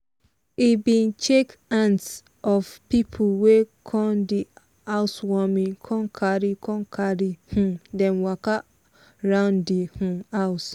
he bin shake hands of people wey come di housewarming con carri con carri um dem waka round di um house.